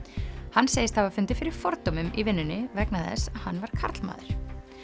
hann segist hafa fundið fyrir fordómum í vinnunni vegna þess hann var karlmaður